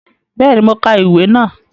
Béèni, mo ka ìwé náà